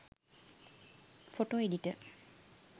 photo editor